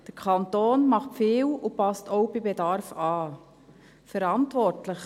Der Kanton macht viel und passt bei Bedarf auch an.